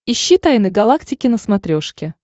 ищи тайны галактики на смотрешке